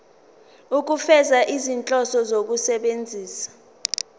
ukufeza izinhloso zokusebenzisa